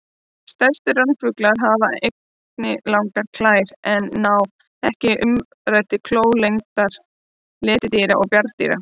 Stærstu ránfuglar hafa einnig langar klær en ná ekki umræddri klór lengd letidýra og bjarndýra.